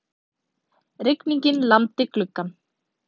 Rigningin lamdi gluggann.